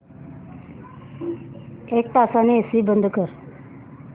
एक तासाने एसी बंद कर